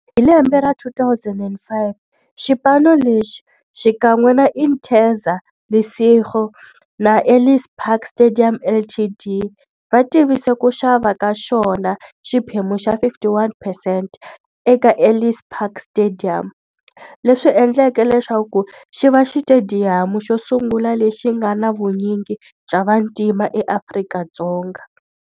Hi lembe ra 2005, xipano lexi, xikan'we na Interza Lesego na Ellis Park Stadium Ltd, va tivise ku xava ka xona xiphemu xa 51 percent eka Ellis Park Stadium, leswi endleke leswaku xiva xitediyamu xosungula lexi nga na vunyingi bya vantima eAfrika-Dzonga.